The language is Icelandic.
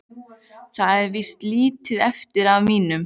Það er víst lítið eftir af mínum!